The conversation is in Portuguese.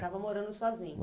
Estava morando sozinho.